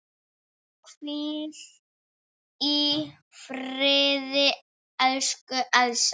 Hvíl í friði, elsku Elsa.